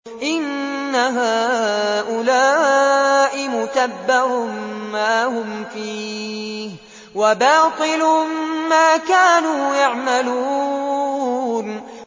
إِنَّ هَٰؤُلَاءِ مُتَبَّرٌ مَّا هُمْ فِيهِ وَبَاطِلٌ مَّا كَانُوا يَعْمَلُونَ